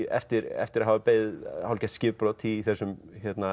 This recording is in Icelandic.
eftir eftir að hafa beðið hálfgert skipbrot í þessum